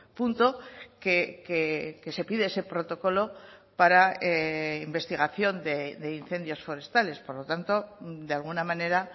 punto que se pide ese protocolo para investigación de incendios forestales por lo tanto de alguna manera